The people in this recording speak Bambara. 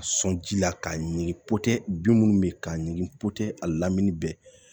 A sɔn ji la k'a ɲigin popotɛ bin munnu be ye k'a ɲigin popo a lamini bɛ